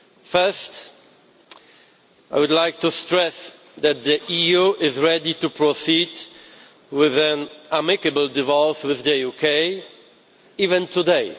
First, I would like to stress that the EU is ready to proceed with an amicable divorce with the UK even today.